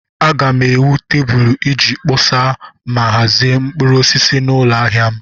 Aga m ewu tebụl iji kpọsa ma hazie mkpụrụ osisi n'ụlọ ahịa m.